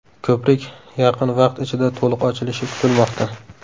Ko‘prik yaqin vaqt ichida to‘liq ochilishi kutilmoqda.